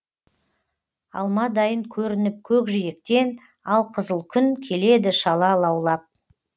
алмадайын көрініп көкжиектен алқызыл күн келеді шала лаулап